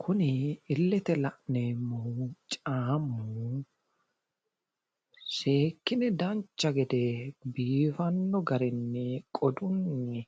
Kuni illete la'neemmohu caammu seekkine dancha gede biifanno garinni qodunni